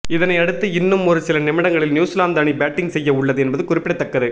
இதனை அடுத்து இன்னும் ஒரு சில நிமிடங்களில் நியூசிலாந்து அணி பேட்டிங் செய்ய உள்ளது என்பது குறிப்பிடத்தக்கது